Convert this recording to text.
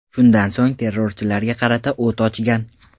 Shundan so‘ng, terrorchilarga qarata o‘t ochgan.